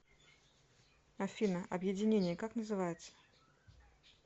афина объединение как называется